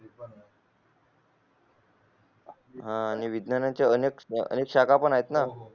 हा आणि विज्ञाच्या अनेक शाखा पण आहेत ना